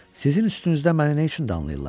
Sizin üstünüzdə məni nə üçün danlayırlar?